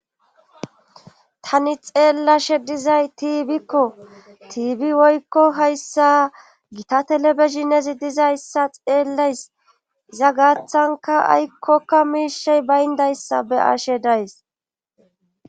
tani xeellashe dizay tiibikko tiibi woykko hayssa gita telebeshinezi dizayssa xeellays iza gaathanka aykkokka miishey bayndayssa be ashe days